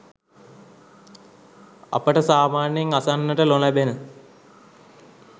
අපට සාමාන්‍යයෙන් අසන්නට නො ලැබෙන